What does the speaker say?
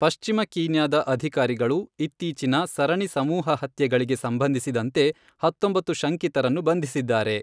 ಪಶ್ಚಿಮ ಕೀನ್ಯಾದ ಅಧಿಕಾರಿಗಳು ಇತ್ತೀಚಿನ ಸರಣಿ ಸಮೂಹಹತ್ಯೆಗಳಿಗೆ ಸಂಬಂಧಿಸಿದಂತೆ ಹತ್ತೊಂಬತ್ತು ಶಂಕಿತರನ್ನು ಬಂಧಿಸಿದ್ದಾರೆ.